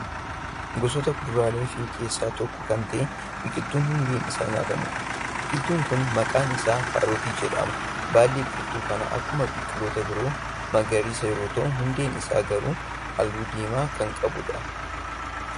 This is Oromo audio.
Gosoota kuduraaleefi keessaa tokko Kan ta'e biqiltuu hundeen Isaa nyaatamuudha. biqiltuun Kuni maqaan isaa kaarotii jedhama. baalli biqiltuu Kanaa akkuma biqiltoota biroo magariisa yoo ta'u hundeen Isaa garuu halluu diimaa Kan qabuudha.